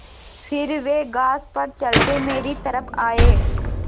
फिर वे घास पर चलते मेरी तरफ़ आये